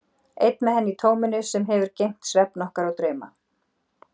Einn með henni í tóminu sem hefur geymt svefn okkar og drauma.